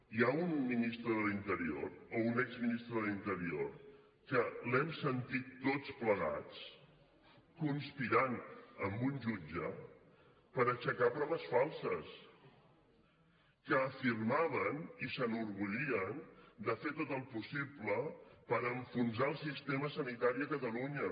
hi ha un ministre de l’interior o un exministre de l’interior que l’hem sentit tots plegats conspirant amb un jutge per aixecar proves falses que afirmaven i s’enorgullien de fer tot el possible per enfonsar el sistema sanitari a catalunya